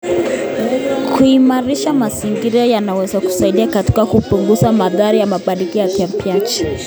Kuimarisha mazingira kunaweza kusaidia katika kupunguza madhara ya mabadiliko ya tabianchi.